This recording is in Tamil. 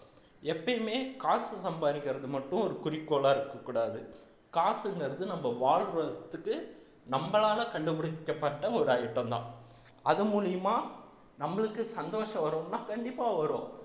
எப்பயுமே காசு சம்பாதிக்கிறது மட்டும் ஒரு குறிக்கோளா இருக்கக் கூடாது காசுங்கிறது நம்ம வாழ்றதுக்கு நம்மளால கண்டுபிடிக்கப்பட்ட ஒரு item தான் அது மூலியமா நம்மளுக்கு சந்தோஷம் வரும்ன்னா கண்டிப்பா வரும்